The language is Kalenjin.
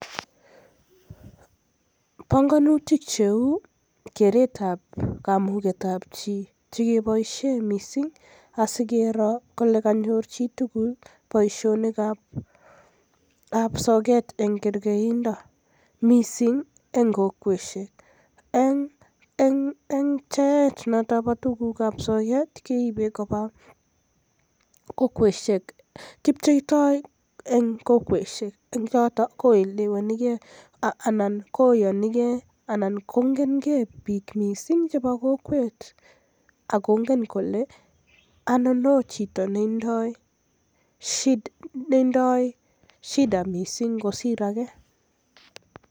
Pongonutik cheu keret ab kamuget ab chii chekiboisien mising asikro kole konyor chitugul boisionik ab sort en kekeindo. Mising eng kokweshek. Eng' pchet ab tuguk choton bo sort, keipe kopa kokweshek. Kipcheitoi eng kokweshek. Eng yotok, koelewanikei anan koyonikei anan kongen kei piik mising chepo kokwet. Anan kongen kole, ainon chito netindoi shida mising kosir age.